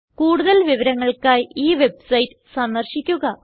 കൂടുതൽ വിവരങ്ങൾക്കായി ഈ വെബ്സൈറ്റ് സന്ദർശിക്കുക